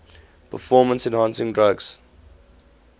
performance enhancing drugs